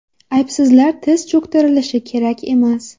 Aybsizlar tiz cho‘ktirilishi kerak emas.